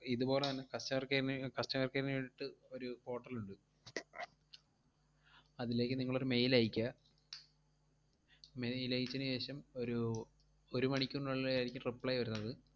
ഇതുപോലെ തന്നെ customer care നെ ഏർ customer care നു വേണ്ടീട്ട് ഒരു portal ഒണ്ട്. അതിലേക്ക് നിങ്ങളൊരു mail അയക്കുക. mail അയച്ചേനു ശേഷം ഒരു ഒരു മണിക്കൂറിനുള്ളിലായിരിക്കും reply വരുന്നത്.